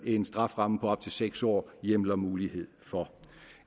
en strafferamme på op til seks år hjemler mulighed for